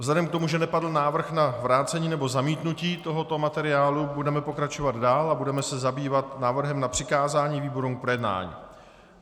Vzhledem k tomu, že nepadl návrh na vrácení nebo zamítnutí tohoto materiálu, budeme pokračovat dál a budeme se zabývat návrhem na přikázání výborům k projednání.